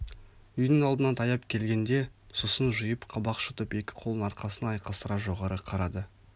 үйдің алдына таяп келгенде сұсын жиып қабақ шытып екі қолын арқасына айқастыра жоғары қарады